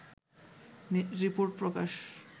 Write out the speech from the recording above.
report Prakash